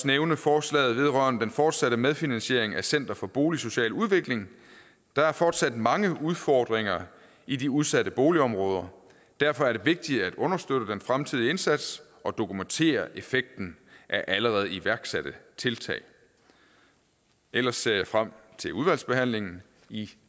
nævne forslaget vedrørende den fortsatte medfinansiering af center for boligsocial udvikling der er fortsat mange udfordringer i de udsatte boligområder derfor er det vigtigt at understøtte den fremtidige indsats og dokumentere effekten af allerede iværksatte tiltag ellers ser jeg frem til udvalgsbehandlingen i